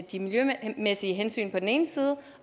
de miljømæssige hensyn på den ene side og